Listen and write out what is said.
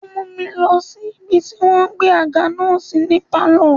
Ó mú mi lọ sí ibi tí wọ́n gbé àga náà sí ní pálọ̀.